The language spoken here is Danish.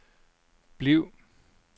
bliv